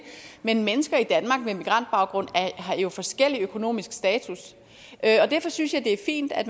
men mennesker i danmark med migrantbaggrund har jo forskellig økonomisk status derfor synes jeg det er fint at